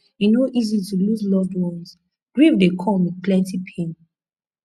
e no easy to lose loved ones grief dey come with plenty pain